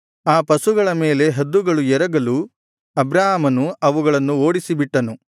ಆ ಪಶುಗಳ ಮೇಲೆ ಹದ್ದುಗಳು ಎರಗಲು ಅಬ್ರಾಮನು ಅವುಗಳನ್ನು ಓಡಿಸಿಬಿಟ್ಟನು